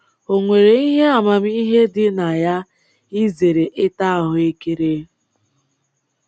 O nwere ihe amamihe dị na ya izere ịta ahụekere?